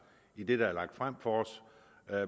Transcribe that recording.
i det der er lagt frem for os